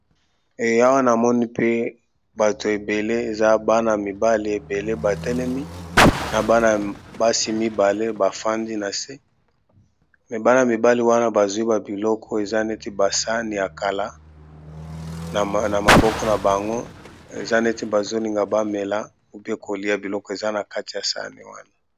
Batu ebele batelemi na ba mususu bafandi, oyo batelemi bazali na ba sani na maboko na bango.